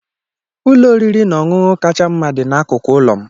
Ụlọ oriri na ọṅụṅụ kacha mma dị n'akụkụ ụlọ m.